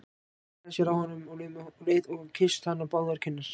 Hallaði sér að honum um leið og kyssti hann á báðar kinnar.